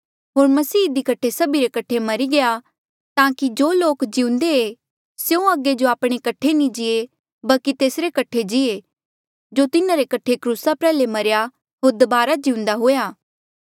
होर मसीह इधी कठे सभी रे कठे मरी गया ताकि जो लोक जिउंदे ऐें स्यों अगे जो आपणे कठे नी जीये बल्की तेसरे कठे जीये जो तिन्हारे कठे क्रूसा प्रयाल्हे मरेया होर दबारा जिउंदा हुआ